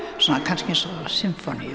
svona kannski eins og sinfóníur